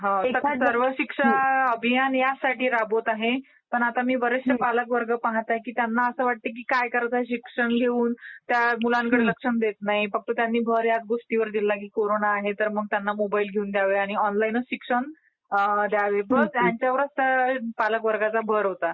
हो हो. सरकार सर्व शिक्षा अभियान ह्याचसाठी राबवत आहे. पण आता मी बरेचसे पालकवर्ग पाहत आहे की त्यांना असं वाटते की काय करायचंय शिक्षण घेऊन? त्या मुलांकडे कुणी लक्ष देत नाही. त्यांनी भर ह्याच गोष्टीवर दिला आहे की कोरोना आहे तर मग त्यांना मोबाईल घेऊन द्यावे आणि ऑनलाईनच शिक्षण द्यावे ह्यावरच पालक वर्गाचा भर होता.